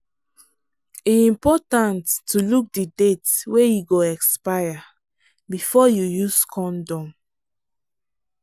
e important to look the date wey e go expire before you use condom.